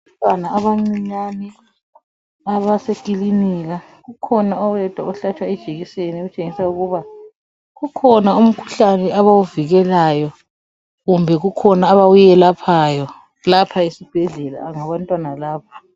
Abantwana abancinyane abasekilinika kukhona oyedwa ohlatshwa ijekiseni okutshengisa ukuba kukhona umkhuhlane abawuvikelayo kumbe kukhona abakuyelaphayo lapha esibhedlela ngabantwana laba.